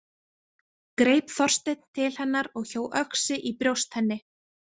Greip Þorsteinn til hennar og hjó öxi í brjóst henni.